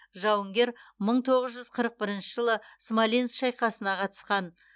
жауынгер мың тоғыз жүз қырық бірінші жылы смоленск шайқасына қатысқан